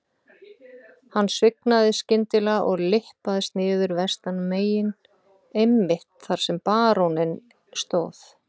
Hann svignaði skyndilega og lyppaðist niður vestanmegin einmitt þar sem baróninn stóð.